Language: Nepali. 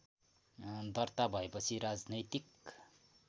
दर्ता भएपछि राजनैतिक